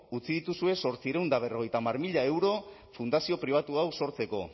utzi dituzue zortziehun eta berrogeita hamar mila euro fundazio pribatu hau sortzeko